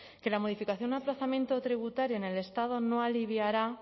que la modificación o aplazamiento tributario en el estado no aliviará